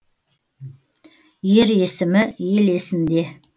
ер есімі ел есінде